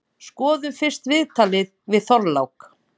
Skoðum fyrst viðtalið við Þorlák.